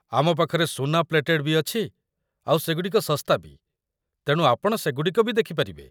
ଆମ ପାଖରେ ସୁନା ପ୍ଲେଟେଡ୍ ବି ଅଛି ଆଉ ସେଗୁଡ଼ିକ ଶସ୍ତା ବି, ତେଣୁ ଆପଣ ସେଗୁଡ଼ିକ ବି ଦେଖି ପାରିବେ ।